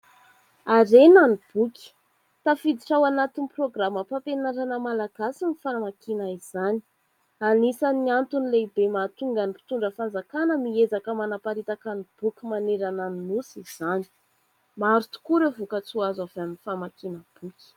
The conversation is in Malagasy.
Harena ny boky. Tafiditra ao anatin'ny programa mpampianarana malagasy ny famakiana izany. Anisany antony lehibe mahatonga ny mpitondra fanjakana miezaka manaparitaka ny boky manerana ny nosy izany. Maro tokoa ireo voka-tsoa azo avy amin'ny famakiana boky.